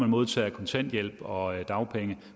modtager kontanthjælp og dagpenge